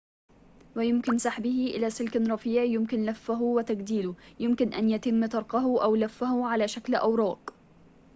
ويمكن سحبه إلى سلكٍ رفيعٍ يمكن لفّه وتجديله يمكن أن يتم طرقه أو لفه على شكل أوراق